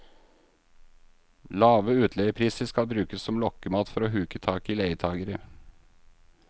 Lave utleiepriser skal brukes som lokkemat for å huke tak i leietagere.